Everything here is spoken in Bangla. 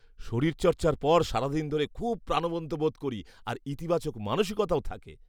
শরীরচর্চার পর সারাদিন ধরে খুব প্রাণবন্ত বোধ করি আর ইতিবাচক মানসিকতাও থাকে।